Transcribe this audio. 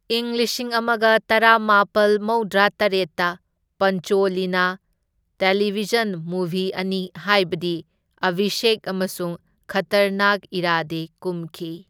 ꯏꯪ ꯂꯤꯁꯤꯡ ꯑꯃꯒ ꯇꯔꯥꯃꯥꯄꯜ ꯃꯧꯗ꯭ꯔꯥ ꯇꯔꯦꯠꯇ ꯄꯟꯆꯣꯂꯤꯅ ꯇꯦꯂꯤꯚꯤꯖꯟ ꯃꯨꯚꯤ ꯑꯅꯤ ꯍꯥꯢꯕꯗꯤ ꯑꯚꯤꯁꯦꯛ ꯑꯃꯁꯨꯡ ꯈꯇꯔꯅꯥꯛ ꯏꯔꯥꯗꯦ ꯀꯨꯝꯈꯤ꯫